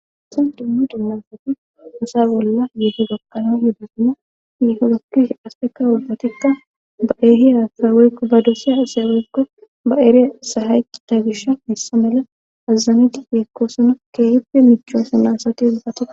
Haysan dummu dunnasati osa bolla yieto gakkano yuddisina yihorokkish aspeka ubbatikka ba eehiyakawerkko ba dosiya seweggo ba ere sahayi ta gisha hessa mela azazameti yeekkoosono keehippe michosona asati ubbati